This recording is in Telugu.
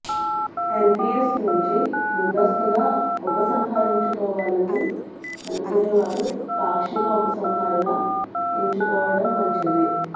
ఎన్పీఎస్ నుంచి ముందస్తుగా ఉపసంహరించుకోవాలని అనుకునేవారు పాక్షిక ఉపసంహరణ ఎంచుకోవడం మంచిది